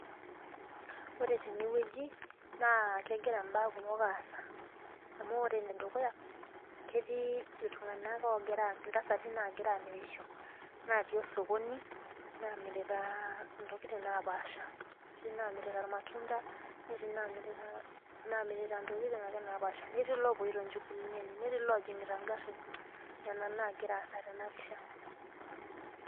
Ore tene wueji naa kegira mbaya kumok aasa, amu ore ene dukuya ketii, iltunganak oogira. ntasati nagira aamirisho natii osokoni, naamirita ntokitin napaasha. etoo naamirita. ilamatunda. netoi naamirita ntokitin ake napaasha. netii loopoito nchugulini enye. netii loojingita garin. nena naagira aasa tena pisha.